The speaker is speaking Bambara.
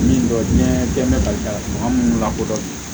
Min dɔ diɲɛ bɛ ka minnu lakodɔn